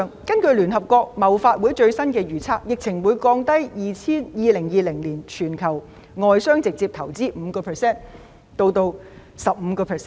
根據聯合國貿發會的最新預測，疫情會降低2020年全球外商直接投資 5% 至 15%。